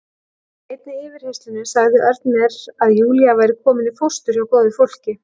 Í einni yfirheyrslunni sagði Örn mér að Júlía væri komin í fóstur hjá góðu fólki.